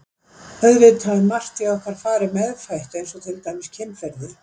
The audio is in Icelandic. Auðvitað er margt í okkar fari meðfætt eins og til dæmis kynferði.